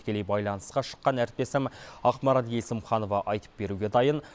тікелей байланысқа шыққан әріптесім ақмарал есімханова айтып беруге дайын